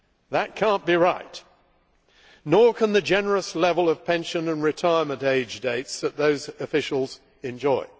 That cannot be right, nor can the generous level of pension and retirement age dates that those officials enjoy.